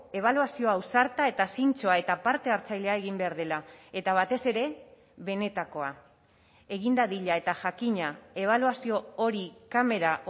ebaluazio ausarta eta zintzoa eta parte hartzailea egin behar dela eta batez ere benetakoa egin dadila eta jakina ebaluazio hori kamera